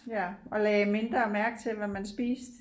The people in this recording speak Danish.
Ja og lagde mindre mærke til hvad man spiste